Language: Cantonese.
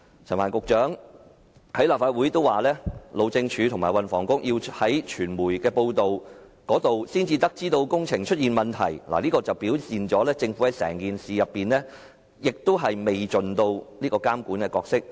陳帆局長在立法會表示，路政署和運輸及房屋局要從傳媒報道才得悉工程出現問題，顯示政府在整件事件上未盡監管角色。